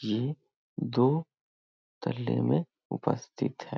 ये दो तल्ले में उपस्थित है।